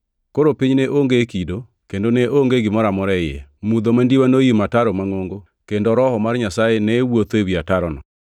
Koro piny ne onge kido kendo ne onge gimoro amora e iye. Mudho mandiwa noimo ataro mangʼongo kendo Roho mar Nyasaye ne wuotho ewi atarono.